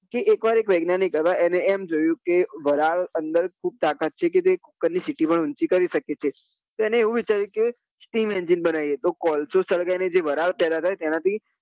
જે એક વાર એક વૈજ્ઞાનિક હતા એને એમ જોયું કે વારના અંદર એટલી તાકતા છે કે તે કુક્કર ની સીટી પણ ઉંચી કરી સકે છે તો એને એમ વિચાર્યું કે steam engine બનાવીએ તો કોલસો સળગાવી ને વરાળ પેદા થાય તેના થી